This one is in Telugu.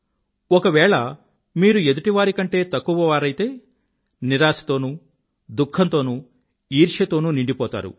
ఒకవేళ మీరు ఎదుటివారి కంటే తక్కువవారైతే నిరాశతోనూ దుఖంతోనూ ఈర్ష్య తోనూ నిండిపోతారు